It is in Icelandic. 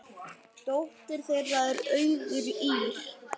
Dóttir þeirra er Auður Ýrr.